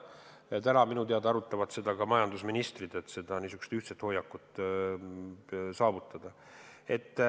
Ja täna minu teada arutavad seda ka majandusministrid, et ühine hoiak võtta.